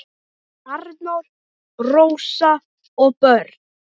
Arnór, Rósa og börn.